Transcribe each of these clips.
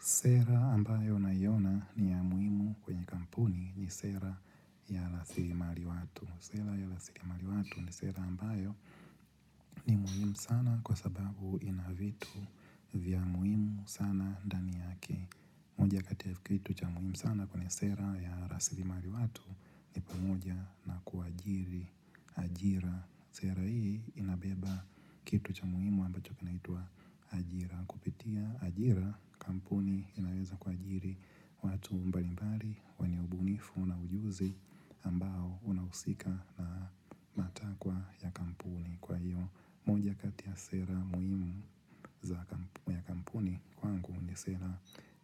Sera ambayo naiona ni ya muhimu kwenye kampuni ni sera ya rasilimali watu. Sera ya rasilimali watu ni sera ambayo ni muhimu sana kwa sababu ina vitu vya muhimu sana ndani yake. Moja kati ya kitu cha muhimu sana kwenye sera ya rasilimali watu. Umoja na kuajiri ajira. Sera hii inabeba kitu cha muhimu ambacho kinaitwa ajira. Kupitia ajira kampuni inaweza kuajiri watu mbali mbali wenye ubunifu na ujuzi ambao unahusika na matakwa ya kampuni kwa hiyo moja kati ya sera muhimu ya kampuni kwangu ni sera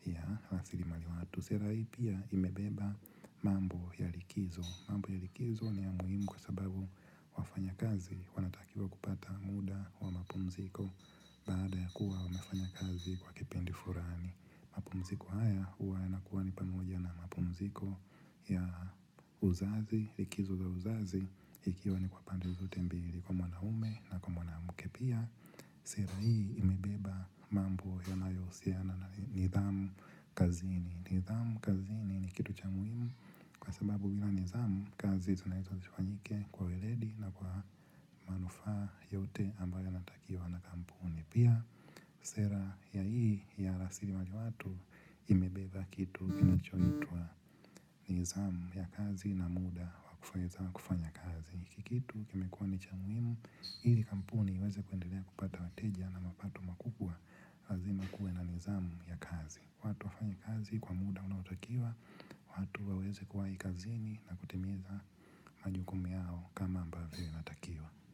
ya rasilimali watu. Sera hii pia imebeba mambo ya likizo mambo ya likizo ni ya muhimu kwa sababu wafanyakazi wanatakiwa kupata muda wa mapumziko. Baada ya kuwa wamefanya kazi kwa kipindi fulani mapumziko haya huwa yanakuwa ni pamoja na mapumziko ya uzazi iikizo za uzazi ikiwa ni kwa pande zote mbili kwa mwanaume na kwa mwanamke pia. Sera hii imebeba mambo yanayohusiana na nidhamu kazini. Nidhamu kazini ni kitu cha muhimu kwa sababu bila nidhamu kazi tunaitiziwa nike kwa weredi na kwa manufa yote ambayo yanatakiwa na kampuni pia sera ya hii ya rasili mali watu imebeba kitu inachoitwa nizamu ya kazi na muda wakufanya kazi. Kikitu kimekuwa ni cha muimu, hili kampuni iweze kuendelea kupata wateja na mapato makubwa. Lazima kuwe na nizamu ya kazi. Watu wafanye kazi kwa muda unaotakiwa, watu waweze kuwahi kazini na kutimiza majukumi yao kama ambavyo inatakiwa.